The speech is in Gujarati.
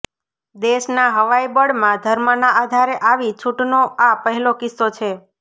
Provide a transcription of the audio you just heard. દેશનાં હવાઈ બળમાં ધર્મના આધારે આવી છૂટનો આ પહેલો કિસ્સો છે